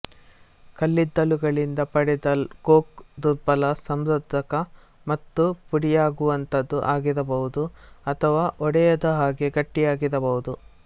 ಕಲ್ಲಿದ್ದಲುಗಳಿಂದ ಪಡೆದ ಕೋಕ್ ದುರ್ಬಲ ಸರಂಧ್ರಕ ಮತ್ತು ಪುಡಿಯಾಗುವಂಥದು ಆಗಿರಬಹುದು ಅಥವಾ ಒಡೆಯದ ಹಾಗೆ ಗಟ್ಟಿಯಾಗಿರಬಹುದು